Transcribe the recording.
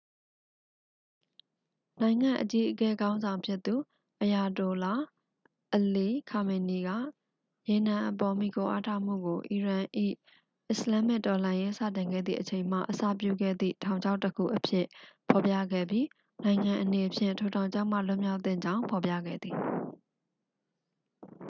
"""နိုင်ငံ့အကြီးအကဲခေါင်းဆောင်ဖြစ်သူ အယာတိုလာ အလီ ခါမေနီက ရေနံအပေါ် မှီခိုအားထားမှုကို အီရန်၏ အစ္စလာမ္မစ်တော်လှန်ရေးစတင်ခဲ့သည့်အချိန်မှ အစပြုခဲ့သည့် "ထောင်ချောက်တစ်ခု""အဖြစ် ဖော်ပြခဲ့ပြီး နိုင်ငံအနေဖြင့် ထိုထောင်ချောက်မှ လွတ်မြောက်သင့်ကြောင်း ဖော်ပြခဲ့သည်။""